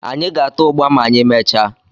Anyị ga-ata ụgba ma anyị mechaa